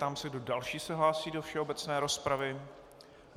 Ptám se, kdo další se hlásí do všeobecné rozpravy.